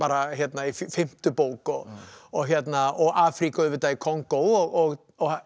í fimmtu bók og og og Afríku auðvitað í Kongó og